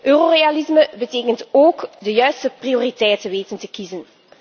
Eurorealisme betekent ook de juiste prioriteiten weten te kiezen.